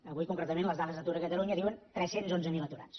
avui concretament les dades d’atur a catalunya diuen tres cents i onze mil aturats